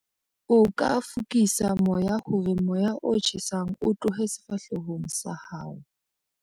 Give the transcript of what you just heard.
O ka fokisa moya hore moya o tjhesang o tlohe sefahlehong sa hao.